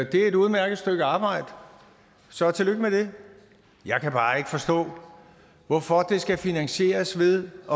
det er et udmærket stykke arbejde så tillykke med det jeg kan bare ikke forstå hvorfor det skal finansieres ved at